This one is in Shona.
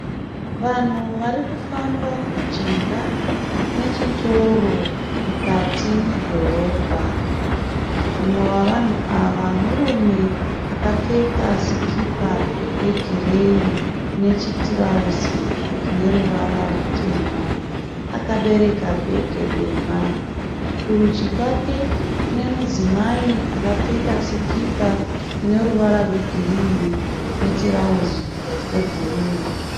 Vanhu vari kufamba mujinga mechitoro mukati medhorobha. Umwe wevanhu ava murume akapfeka sikipa yegireyi nechitirauzi chine ruvara ruvara rutema. Akabereka bhegi dema. Kurudyi kwake kune mudzimai akapfeka sikipa ine ruvara rwegirini netirauzi rebhuruu.